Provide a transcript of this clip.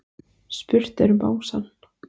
Spurt er um bangsann.